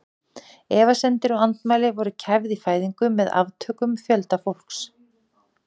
Efasemdir og andmæli voru kæfð í fæðingu með aftökum fjölda fólks.